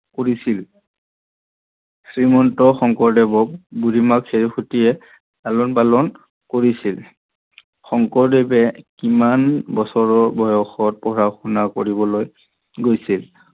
কৰিছিল? শ্ৰীমন্ত শংকৰদেৱক বুঢ়ীমাক খেৰসুতিয়ে লালন পালন কৰিছিল। শংকৰদেৱে কিমান বছৰৰ পৰা বয়স পঢ়া শুনা কৰিছিল?